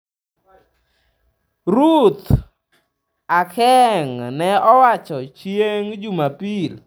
Ruth Aceng ne owacho chieng' Jumapil. ""